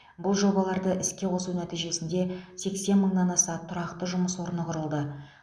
бұл жобаларды іске қосу нәтижесінде сексен мыңнан аса тұрақты жұмыс орны құрылды